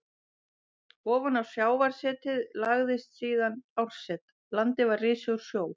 Ofan á sjávarsetið lagðist síðan árset, landið var risið úr sjó.